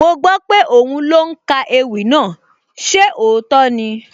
Mo gbọ́ pé òhún ló ń ka ewì náà, ṣé òótọ́ ni?